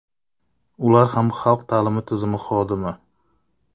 Ular ham xalq ta’limi tizimi xodimi.